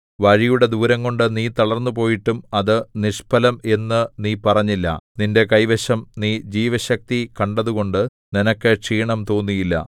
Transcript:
വഴിയുടെ ദൂരംകൊണ്ടു നീ തളർന്നുപോയിട്ടും അത് നിഷ്ഫലം എന്നു നീ പറഞ്ഞില്ല നിന്റെ കൈവശം നീ ജീവശക്തി കണ്ടതുകൊണ്ട് നിനക്ക് ക്ഷീണം തോന്നിയില്ല